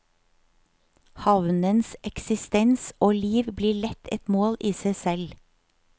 Havnens eksistens og liv blir lett et mål i seg selv.